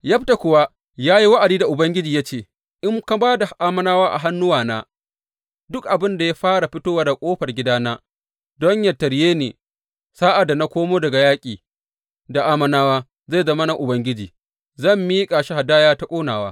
Yefta kuwa ya yi wa’adi da Ubangiji ya ce, In ka ba da Ammonawa a hannuwana, duk abin da ya fara fitowa daga ƙofar gidana don yă tarye ni, sa’ad da na komo daga yaƙi da Ammonawa, zai zama na Ubangiji, zan miƙa shi hadaya ta ƙonawa.